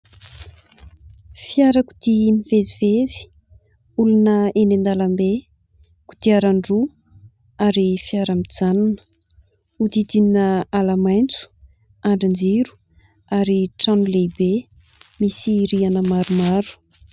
Fiarakodia mivezivezy, olona eny an-dalambe, kodiaran-droa ary fiara mijanona, hodidinina ala maitso, andrinjiro, ary trano lehibe misy rihana maromaro.